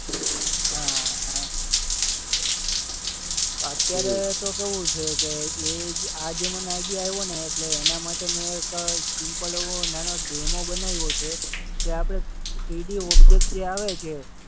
હા હા. અત્યારે તો કેવું છે કે એ જ આ જે મને આઈડિયા આવ્યોને એટલે એના માટે મેં એક સિમ્પલ એવો નેનો ડેમો બનાવ્યો છે કે આપણે થ્રીડી ઓબ્જેક્ટ જે આવે છે